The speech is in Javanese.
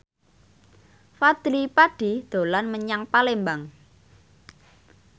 Fadly Padi dolan menyang Palembang